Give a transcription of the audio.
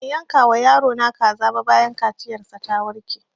Ban yanka wa yaro na kaza ba bayan kaciyar sa ta warke